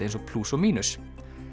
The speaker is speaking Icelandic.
eins og plús og mínus